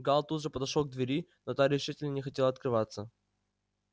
гаал тут же подошёл к двери но та решительно не хотела открываться